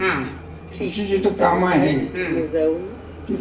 नाहीतर मग तुम्हाला अगदी दुसर्यादिवशीसुद्धा